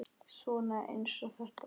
Svona eins og þetta!